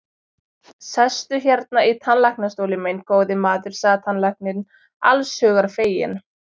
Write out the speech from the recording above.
Sestu hérna í tannlæknastólinn minn, góði maður, sagði tannlæknirinn, alls hugar feginn.